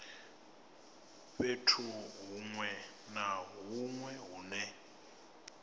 fhethu hunwe na hunwe hune